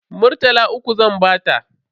Murtala uku zan bata.